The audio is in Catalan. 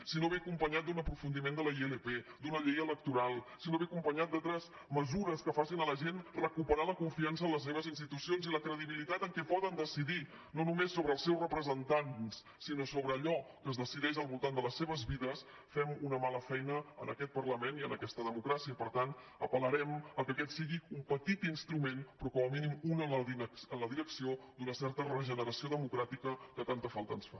si no ve acompanyat d’un aprofundiment de la ilp d’una llei electoral si no ve acompanyat d’altres mesures que facin a la gent recuperar la confiança en les seves institucions i la credibilitat en el fet que poden decidir no només sobre els seus representants sinó sobre allò que es decideix al voltant de les seves vides fem una mala feina en aquest parlament i en aquesta democràcia i per tant apelaquest sigui un petit instrument però com a mínim un en la direcció d’una certa regeneració democràtica que tanta falta ens fa